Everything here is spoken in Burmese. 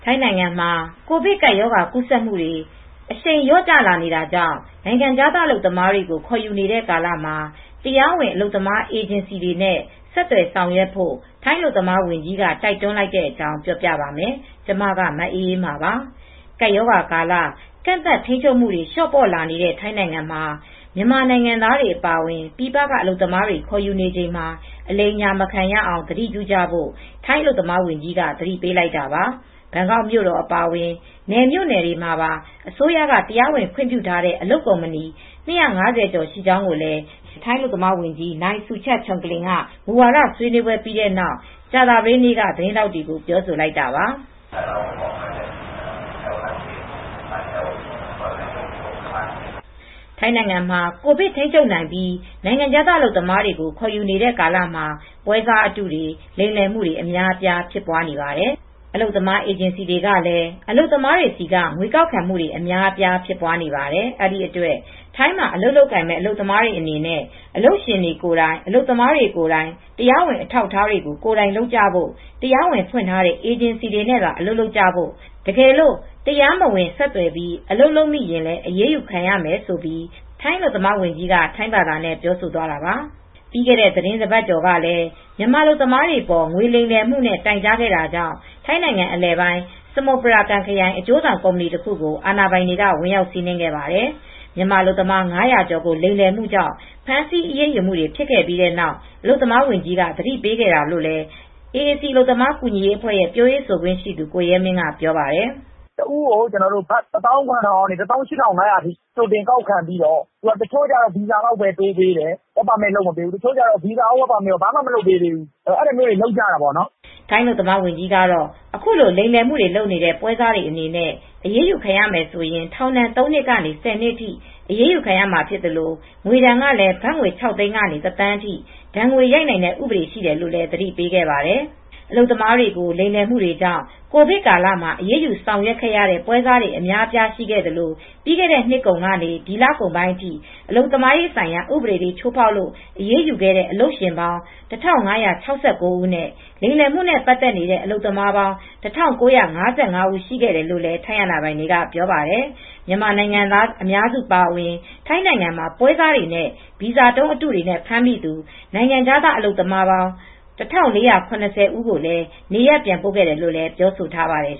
ိုင်းနိုင်ငံမှာ ကိုဗစ်ကပ်ရောဂါ ကူးစက်မှုတွေ အရှိန်လျော့လာနေတာကြောင့် နိုင်ငံခြားသား အလုပ်သမားတွေကို ခေါ်ယူနေတဲ့ကာလမှာ တရားဝင် အလုပ်သမားအေဂျင်စီတွေနဲ့ ဆက်သွယ်ဆောင်ရွက်ဖို့ ထိုင်းအလုပ်သမားဝန်ကြီးက တိုက်တွန်းလိုက်တဲ့အကြောင်း ပြောပြပါမယ်။ ဗွီအိုအေမြန်မာပိုင်းသတင်းထောက် မအေးအေးမာက ထိုင်း မြန်မာနယ်စပ်ကနေ သတင်းပေးပို့ထားပါတယ်။ ကပ်ရောဂါကာလ ကန့်သတ်ထိန်းချုပ်မှုတွေ လျော့ပေါ့လာနေတဲ့ ထိုင်းနိုင်ငံမှာ မြန်မာနိုင်ငံသားတွေ အပါအဝင် ပြည်ပက အလုပ်သမားတွေ ခေါ်ယူနေချိန်မှာ အလိမ်အညာ မခံရအောင် သတိပြုကြဖို့ ထိုင်းအလုပ်သမားဝန်ကြီးက သတိပေးလိုက်တာပါ။ ဘန်ကောက်မြို့တော် အပါအဝင် နယ်မြို့နယ်တွေမှာပါ အစိုးရက တရားဝင်ခွင့်ပြုထားတဲ့ အလုပ်ကုမ္ပဏီ ၂၅၀ ကျော်ရှိကြောင်းလည်း ထိုင်းအလုပ်သမားဝန်ကြီး နိုင်စူချာတ်ချုံကလင် က အလုပ်သမားသစ်ခေါ်ယူရေး မူဝါဒဆွေးနွေးပွဲပြီးတဲ့နောက် ကြာသပတေးနေ့က သတင်းထောက်တွေကို ပြောဆိုလိုက်တာပါ။ "ထိုင်းနိုင်ငံမှာ ကိုဗစ်ထိန်းချုပ်နိုင်ပြီး နိုင်ငံခြားသားအလုပ်သမားတွေ ခေါ်ယူနေတဲ့ကာလမှာ ပွဲစားအတုတွေ လိမ်လည်မှုတွေ အများအပြားဖြစ်နေပါတယ်။ အလုပ်သမားအေဂျင်စီတွေကလည်း အလုပ်သမားတွေဆီက ငွေကောက်ခံမှုတွေ အများအပြားဖြစ်ပွားနေတယ်။ အဲဒီအတွက် ထိုင်းမှာ အလုပ်လုပ်ကိုင်မဲ့ အလုပ်သမားတွေအနေနဲ့ အလုပ်ရှင်ကိုယ်တိုင် အလုပ်သမားကိုယ်တိုင် တရားဝင်တွေ အထောက်အထားတွေကို ကိုယ်တိုင်လုပ်ကြဖို့၊ တရားဝင်ဖွင့်ထားတဲ့ အေဂျင်စီတွေနဲ့သာ အလုပ်လုပ်ကြဖို့ တကယ်လို့ တရားမဝင် ဆက်သွယ်ပြီး အလုပ်လုပ်မိရင်လည်း အရေးယူခံရမယ်။" ဆိုပြီး အလုပ်သမားဝန်ကြီးက ထိုင်းဘာသာနဲ့ ပြောဆိုသွားတာပါ။ ပြီးခဲ့တဲ့ သီတင်းတပတ်ကျော်ကလည်း မြန်မာအလုပ်သမားတွေအပေါ် ငွေလိမ်လည်မှုနဲ့ တိုင်ကြားခဲ့တာကြောင့် ထိုင်းနိုင်ငံ အလယ်ပိုင်း စမုပရာကမ်ခရိုင်က အကျိုးဆောင်ကုမ္ပဏီတခုကို အာဏာပိုင်တွေက ဝင်ရောက်စီးနင်းခဲ့ပါတယ်။ မြန်မာအလုပ်သမား ၅၀၀ ကျော်ကို လိမ်လည်မှုကြောင့် ဖမ်းဆီးအရေးယူမှုတွေ ဖြစ်ခဲ့ပြီးနောက် အလုပ်သမားဝန်ကြီးက သတိပေးခဲ့တာလို့လည်း AAC အလုပ်သမား ကူညီရေးအဖွဲရဲ့ပြောခွင့်ရှိသူ ကိုရဲမင်းက ပြောပါတယ်။ "တဦးကို ဘတ်ငွေ ၁၇,၀၀၀ ကနေ ၁၈,၅၀၀ လောက်ထိ ကြိုတင်ကောက်ခံပြီးတော့ တချို့ကျတော့ ဗီဇာလောက်ပဲ တိုးပေးတယ်။ work permit မလုပ်ပေးဘူး။ တချို့ကတော့ ဘာမှကို လုပ်မပေးဘူး။ အဲဒါမျိုးတွေ လုပ်ကြတာပေါ့နော်။" ထိုင်းအလုပ်သမားဝန်ကြီးကတော့ အခုလို လိမ်လည်မှုတွေ လုပ်နေတဲ့ ပွဲစားတွေအနေနဲ့ အရေးယူခံရမယ်ဆိုရင် ထောင်ဒဏ် ၃ နှစ်ကနေ ၁၀ နှစ်အထိ အရေးယူခံရမှာဖြစ်သလို့ ငွေဒဏ်ကလည်း ဘတ် ၆၀၀,၀၀၀ ကနေ ၁,၀၀၀,၀၀၀ အထိ ဒဏ်ငွေရိုက်နိုင်တဲ့ ဥပဒေရှိတယ်လို့လည်း သတိပေးခဲ့ပါတယ်။ အလုပ်သမားတွေကို လိမ်လည်မှုတွေကြောင့် ကိုဗစ်ကာလမှာ အရေးယူဆောင်ရွက်ရတဲ့ ပွဲစားတွေအများအပြား ရှိခဲ့သလို ပြီးခဲ့တဲ့နှစ်ကုန်ကနေ ဒီလပိုင်းအထိအလုပ်သမားဆိုင်ရာ ဥပဒေတွေ ချိုးဖောက်လို့ အရေးယူခဲ့တဲ့ အလုပ်ရှင်ပေါင်း ၁,၅၆၉ ဦးနဲ့ လိမ်လည်မှုနဲ့ ပတ်သက်နေတဲ့ အလုပ်သမားပေါင်း ၁,၉၅၅ ဦး ရှိခဲ့တယ်လို့လည်း ထိုင်းအာဏာပိုင်တွေက ပြောပါတယ်။ မြန်မာနိုင်ငံသား အများစုအပါအဝင် ထိုင်းနိုင်ငံမှာ ပွဲစားတွေနဲ့ ဗီဇာတုံးအတုတွေနဲ့ ဖမ်းမိသူနိုင်ငံခြားသားအလုပ်သမား ၁,၄၇၀ ဦး ကိုလည်း နေရပ်ပြန်ပို့ခဲ့တယ်လို့ ပြောဆိုထားပါတယ်